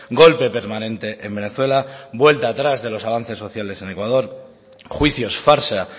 golpe permanente en venezuela vuelta atrás de los avances sociales en ecuador juicios farsa